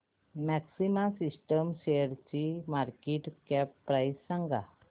maxima Systems शेअरची market cap price सांगा